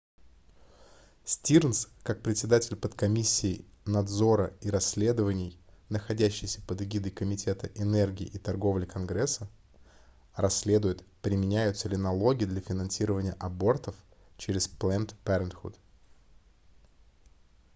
стирнз как председаель подкомиссии надзора и расследований находящейся под эгидой комитета энергии и торговли конгресса расследует применяются ли налоги для финансирования абортов через planned parenthood